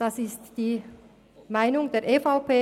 Das ist die Meinung der EVP.